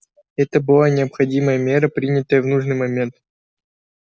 это была необходимая мера принятая в нужный момент